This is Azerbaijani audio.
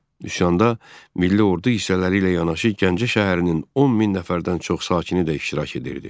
Üsyanda milli ordu hissələri ilə yanaşı Gəncə şəhərinin 10 min nəfərdən çox sakini də iştirak edirdi.